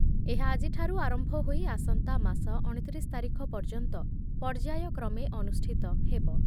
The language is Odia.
ଏହା ଆଜିଠାରୁ ଆରମ୍ଭ ହୋଇ ଆସନ୍ତା ମାସ ଅଣତିରିଶ ତାରିଖ ପର୍ଯ୍ୟନ୍ତ ପର୍ଯ୍ୟାୟକ୍ରମେ ଅନୁଷ୍ଠିତ ହେବ।